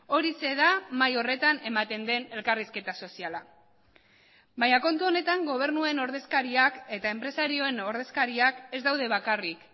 horixe da mahai horretan ematen den elkarrizketa soziala baina kontu honetan gobernuen ordezkariak eta enpresarioen ordezkariak ez daude bakarrik